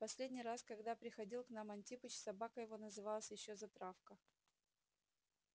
в последний раз когда приходил к нам антипыч собака его называлась ещё затравка